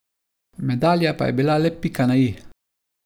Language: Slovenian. Medalja pa je bila le pika na i.